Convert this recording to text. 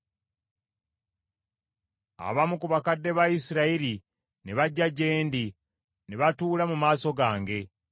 Abamu ku bakadde ba Isirayiri ne bajja gye ndi, ne batuula mu maaso gange.